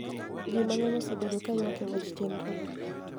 Ji mang'eny osebedo ka ywak e wach chenrogo.